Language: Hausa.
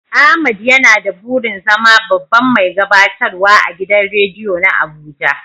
Ahmad yana da burin zama babban mai gabatarwa agidan rediyo na Abuja.